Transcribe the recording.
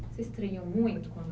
Você estranhou muito quando